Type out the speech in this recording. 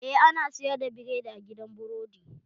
Eh, ana sayar da biredi a gidan burodi